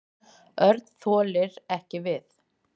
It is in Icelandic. Örn þoldi ekki við.